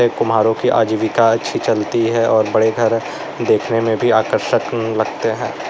कुम्हारों की आजीविका अच्छी चलती है और बड़े घर देखने में भी आकर्षक लगते हैं।